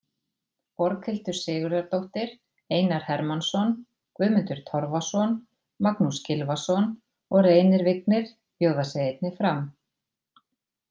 Borghildur Sigurðardóttir, Einar Hermannsson, Guðmundur Torfason, Magnús Gylfason og Reynir Vignir bjóða sig einnig fram.